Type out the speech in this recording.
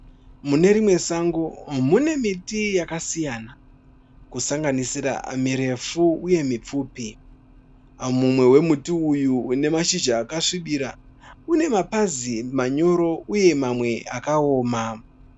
Mune rimwe sango mune miti yakasiyana, kusanganisira mirefu uye mipfupi. Mumwe wemuti uyu une mashizha akasvibira, une mapazi manyoro uye mamwe akaoma.